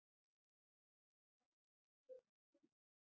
Hvað geturðu sagt mér um þessa tónleika?